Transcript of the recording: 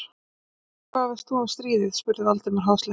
Og hvað veist þú um stríð? spurði Valdimar háðslega.